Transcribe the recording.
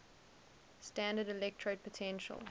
standard electrode potential